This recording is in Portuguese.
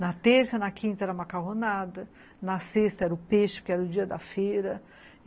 Na terça, na quinta era macarronada, na sexta era o peixe, porque era o dia da feira.